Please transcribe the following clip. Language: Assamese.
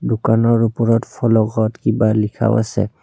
দোকানৰ ওপৰত ফলকত কিবা লিখাও আছে।